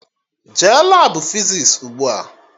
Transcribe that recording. Jee Labụ fizis ugbua!